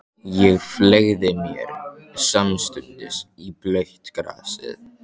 Ég fleygði mér samstundis í blautt grasið.